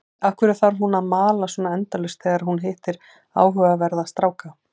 Af hverju þarf hún að mala svona endalaust þegar hún hittir áhugaverða stráka?